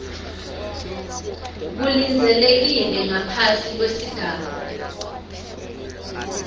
kulindzelekile ngaphasi kwesigaba